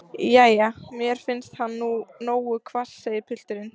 Jæja, mér finnst hann nú nógu hvass, segir pilturinn.